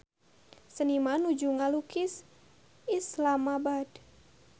Seniman nuju ngalukis Islamabad